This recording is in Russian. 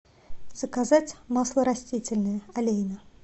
заказать масло растительное олейна